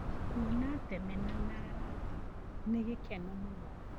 Kuona thenema na rata nĩ gĩkeno mũno.